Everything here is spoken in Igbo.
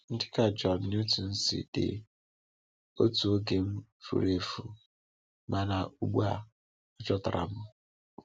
“Dịka John Newton si dee, ‘Otu oge m furu efu, mana ugbu a a chọtara m!’”